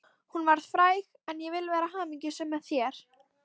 Hún varð fræg en ég vil vera hamingjusöm, með þér.